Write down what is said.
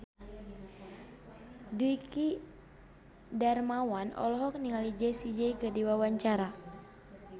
Dwiki Darmawan olohok ningali Jessie J keur diwawancara